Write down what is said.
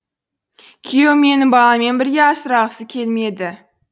күйеуім мені баламмен бірге асырағысы келмеді